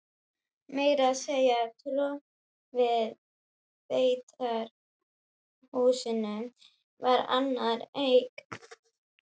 Meira að segja torfið í beitarhúsunum var annarra eign.